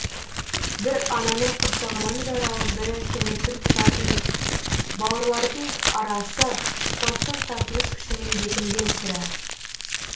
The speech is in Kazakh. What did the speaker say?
бір ананын құрсағынан жаралып бір әкені пір тұтатын бауырларлардың арасы тылсым тартылыс күшімен бекінген сірә